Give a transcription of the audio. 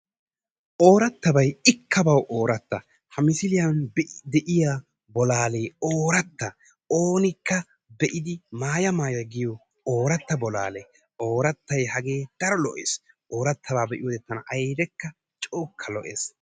Oorattabay ikka bawu ooratta. Ha misiliyan de'iya bolaale ooratta oonikka be"idi maaya maaya giyo oortta bolaale oorattay hagee daro lo"ees. Oorattabaa be"iyoode tana awudekka cookka lo"es.